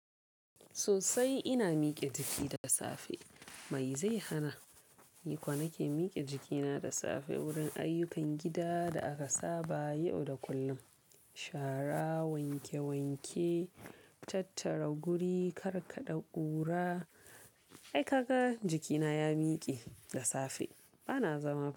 Sosai ina mike jiki da safe. Mai zai hana? Ni kuwa nake mike jikina da safe wurin ayyukan gida da aka saba yau da kullum. Shara, wanke wanke, tattara guri, karka ɗa ƙura. Ai kaga jikina ya mike da safe. Ba na zama ba.